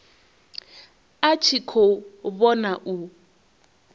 a tshi khou vhona u